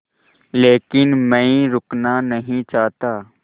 लेकिन मैं रुकना नहीं चाहता